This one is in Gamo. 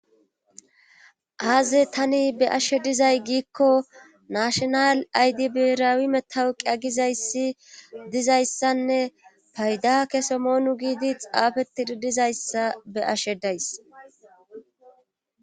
aaze tani be ashe dizay giikko nashonal aydibiraawi metawuqi a gizayssi dizayssanne payda kese moonu giidi xaafe tididizayssa be ashe days